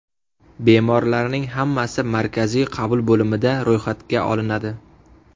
Bemorlarning hammasi markaziy qabul bo‘limida ro‘yxatga olinadi.